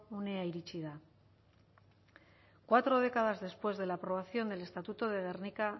unea iritsi da cuatro décadas después de la aprobación del estatuto de gernika